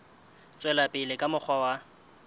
tswela pele ka mokgwa wa